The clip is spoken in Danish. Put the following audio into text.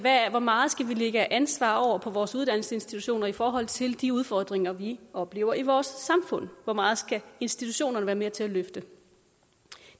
hvor meget vi skal lægge ansvaret over på vores uddannelsesinstitutioner i forhold til de udfordringer vi oplever i vores samfund hvor meget institutionerne skal være med til at løfte